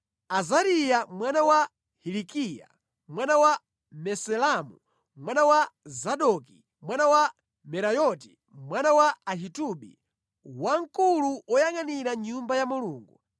Azariya mwana wa Hilikiya, mwana wa Mesulamu, mwana wa Zadoki mwana wa Merayoti, mwana wa Ahitubi, wamkulu woyangʼanira Nyumba ya Mulungu;